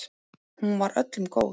Hún var öllum góð.